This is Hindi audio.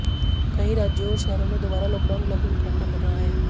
कई राज्यों और शहरों में दोबारा लॉकडाउन लागू करना पड़ा है